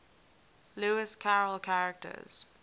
lewis carroll characters